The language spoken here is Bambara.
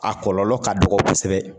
A kɔlɔlɔ ka dɔgɔ kosɛbɛ.